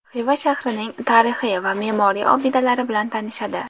Xiva shahrining tarixiy va me’moriy obidalari bilan tanishadi.